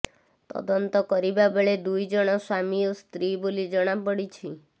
ତଦନ୍ତ କରିବା ବେଳେ ଦୁଇ ଜଣ ସ୍ୱାମୀ ଓ ସ୍ତ୍ରୀ ବୋଲି ଜଣାପଡିଛି